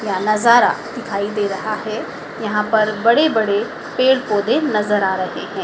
क्या नज़ारा दिखाई दे रहा है यहां पर बड़े बड़े पेड़ पौधे नजर आ रहे हैं।